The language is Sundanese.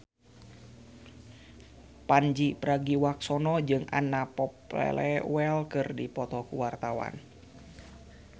Pandji Pragiwaksono jeung Anna Popplewell keur dipoto ku wartawan